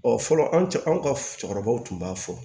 fɔlɔ an cɛ anw ka cɛkɔrɔbaw tun b'a fɔ